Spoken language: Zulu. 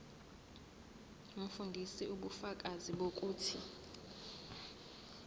umfundisi ubufakazi bokuthi